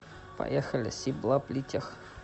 поехали сиблаблитех